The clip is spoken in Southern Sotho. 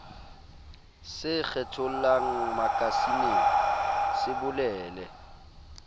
se kgethollang makasineng se bolele